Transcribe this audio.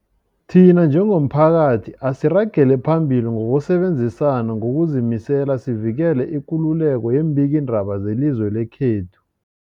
Thina njengomphakathi, asiragele phambili ngokusebenzisana ngokuzimisela sivikele ikululeko yeembikiindaba zelizwe lekhethu.